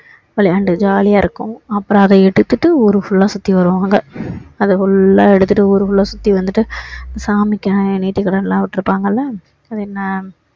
விளையாண்டு jolly யா இருக்கும் அப்பறோம் அதை எடுத்துட்டு ஊரு full லா சுத்தி வருவாங்க அதை full லா எடுத்துட்டு ஊரு full லா சுத்தி வந்துட்டு சாமிக்கு தேர்த்தி கடன்லாம் விட்டு இருப்பாங்கல்ல அது என்ன